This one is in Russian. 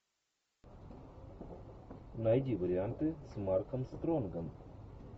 найди варианты с марком стронгом